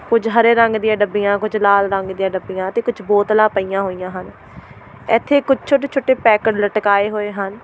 ਕੁਝ ਹਰੇ ਰੰਗ ਦੀਆਂ ਡੱਬੀਆਂ ਕੁਝ ਲਾਲ ਰੰਗ ਦੀਆਂ ਡੱਬੀਆਂ ਤੇ ਕੁਝ ਬੋਤਲਾਂ ਪਈਆਂ ਹੋਈਆਂ ਹਨ ਇੱਥੇ ਕੁੱਛ ਛੋਟੇ ਛੋਟੇ ਪੈਕਟ ਲਟਕਾਏ ਹੋਏ ਹਨ।